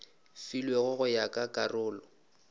filwego go ya ka karolo